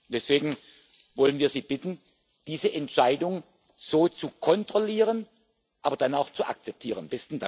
Deswegen wollen wir Sie bitten, diese Entscheidung so zu kontrollieren, aber dann auch zu akzeptieren.